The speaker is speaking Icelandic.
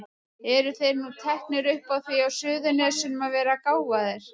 Eru þeir nú teknir upp á því á Suðurnesjum að vera gáfaðir?